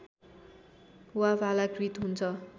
वा भालाकृत हुन्छ